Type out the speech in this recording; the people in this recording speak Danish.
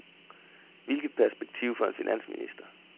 Hvilket perspektiv for en finansminister.